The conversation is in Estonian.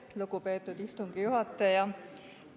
Aitäh, lugupeetud istungi juhataja!